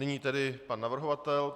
Nyní tedy pan navrhovatel.